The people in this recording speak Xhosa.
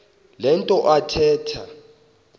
le nto athetha